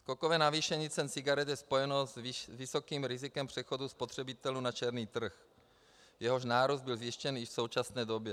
Skokové navýšení cen cigaret je spojeno s vysokým rizikem přechodu spotřebitelů na černý trh, jehož nárůst byl zjištěn i v současné době.